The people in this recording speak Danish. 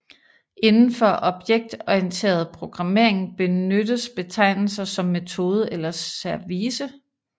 Inden for objektorienteret programmering benyttes betegnelser som metode eller service